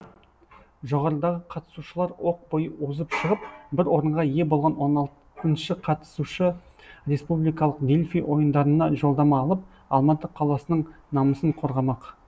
жоғарыдағы қатысушылар оқ бойы озып шығып бір орынға ие болған он алты қатысушы республикалық дельфий ойындарына жолдама алып алматы қаласының намысын қорғамақ